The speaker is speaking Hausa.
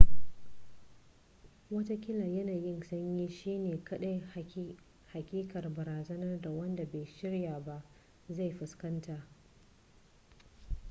wataƙila yanayin sanyi shi ne kaɗai haƙiƙar barazanar da wanda bai shirya ba zai fuskanta